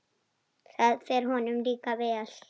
Það fer honum líka vel.